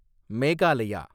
Meghalaya